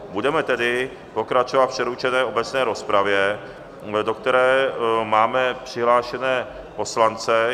Budeme tedy pokračovat v přerušené obecné rozpravě, do které máme přihlášené poslance.